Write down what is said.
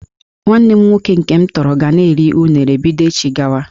Nwanne m nwoke nke m tọrọ ga na-eri unere bido echi gawa